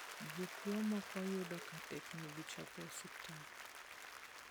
Jotuo moko yudo ka teknegi chopo e osiptal.